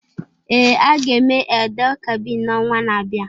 Ee, a ga-eme Eid-el-Kabir n'ọnwa na-abịa.